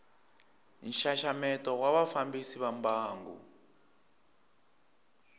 nxaxameto wa vafambisi va mbangu